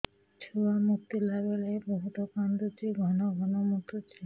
ଛୁଆ ମୁତିଲା ବେଳେ ବହୁତ କାନ୍ଦୁଛି ଘନ ଘନ ମୁତୁଛି